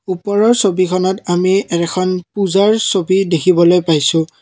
ওপৰৰ ছবিখনত আমি এখন পূজাৰ ছবি দেখিবলৈ পাইছোঁ।